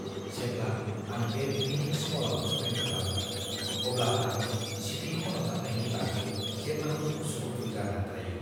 जेब्ला आं बे फीनिक्स म'लआव शपिं खालामो, अब्ला आं सिफि खन'जानायनि बागै जेब्लाबो उसु-खुथु जाना थायो।